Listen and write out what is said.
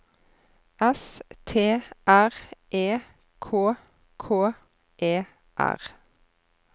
S T R E K K E R